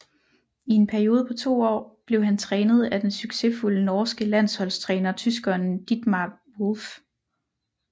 I en periode på 2 år blev han trænet af den succesfulde norske landsholdstræner tyskeren Dietmar Wolf